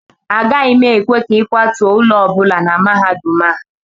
Agaghị m ekwe ka ịkwatuo ụlọ ọ bụla na mahadum a